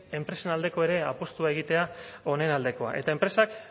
enpresen aldeko ere apustua egitea honen aldekoa eta enpresak